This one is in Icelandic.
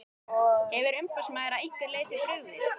Hefur umboðsmaður að einhverju leyti brugðist?